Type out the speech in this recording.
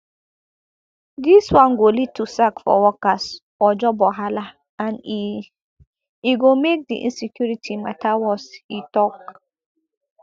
dis one go lead to sack for workers or job wahala and e e go make di insecurity mata worse e tok